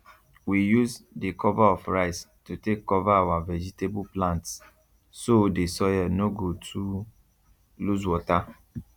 we use the cover of rice to take cover our vegetable plants so the soil no go too lose water